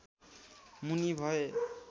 मुनि भए